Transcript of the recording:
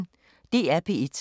DR P1